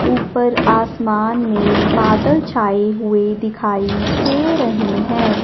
ऊपर आसमान में बादल छाए हुए दिखाई दे रहें हैं।